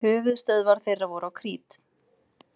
Höfuðstöðvar þeirra voru á Krít.